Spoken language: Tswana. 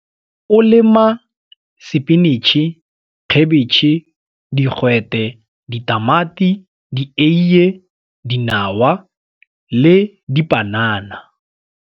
O lema sepinitšhi, khebetšhe, digwete, ditamati, dieiye, dinawa le dipanana.